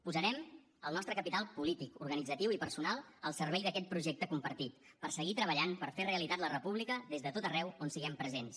posarem el nostre capital polític organitzatiu i personal al servei d’aquest projecte compartit per seguir treballant per fer realitat la república des de tot arreu on siguem presents